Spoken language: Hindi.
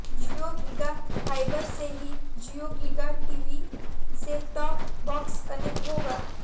जियो गीगा फाइबर से ही Jio Giga TV set top box connect होगा